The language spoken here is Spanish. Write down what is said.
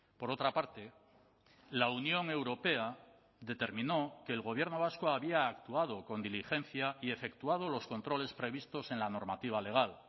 por otra parte la unión europea determinó que el gobierno vasco había actuado con diligencia y efectuado los controles previstos en la normativa legal